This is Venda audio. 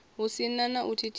hu si na u thithisa